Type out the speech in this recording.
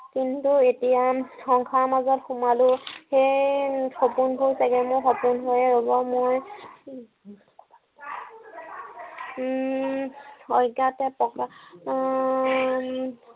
কিন্তু এতিয়া সংসাৰৰ মাজত সোমালো। সেয়ে সপোনবোৰ চাগে মোৰ সপোন হৈয়ে ৰব মোৰ। মই অজ্ঞাতে আহ